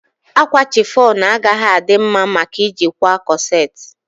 Akwa chiffon agaghị adị mma maka ị ji kwaa kọset